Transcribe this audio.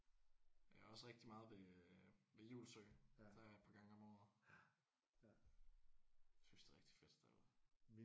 Jeg er også rigtig meget ved øh ved Julsøen der er jeg et par gange om året. Jeg synes det er et rigtig fedt sted at være